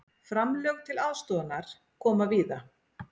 Framlög til aðstoðarinnar koma víða